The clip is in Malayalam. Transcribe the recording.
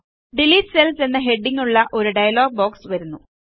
ഡിലീറ്റ് സെൽസ് എന്ന ഹെഡിംഗ്ങ്ങുള്ള ഒരു ഡയലോഗ് ബോക്സ് വരുന്നു